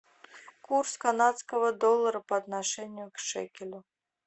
курс канадского доллара по отношению к шекелю